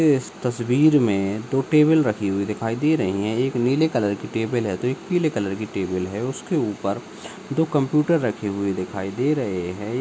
ए इस तस्वीर में दो टेबल रखी हुई दिखाई दे रही है एक नीले कलर की टेबल है तो एक पीले कलर की टेबल है उसके ऊपर दो कंप्यूटर रखे हुए दिखाई दे रहे हैं।